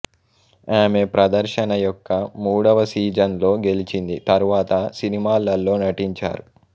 ఆమె ప్రదర్శన యొక్క మూడవ సీజన్లో గెలిచింది తరువాత సినిమాలలో నటించారు